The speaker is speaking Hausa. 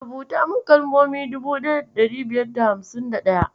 Rubuta min kalmomi dubu daya da ɗari biyar da hamsin da ɗaya.